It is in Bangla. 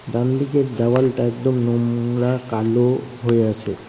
ডানদিকের দেওয়ালটা একদম নোংরা কালো হয়ে আছে ।